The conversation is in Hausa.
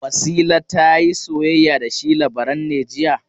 Wasila ta yi soyayya da shi Labaran ne jiya?